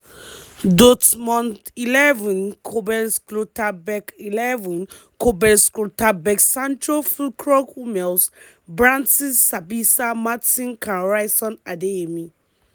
dortmund xi:kobel schlotterbeck xi:kobel schlotterbeck sancho fullkrug hummels brandt sabitzer maatsen can ryerson adeyemi.